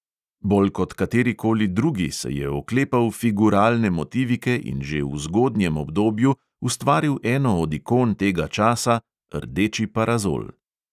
Bolj kot katerikoli drugi se je oklepal figuralne motivike in že v zgodnjem obdobju ustvaril eno od ikon tega časa – rdeči parazol.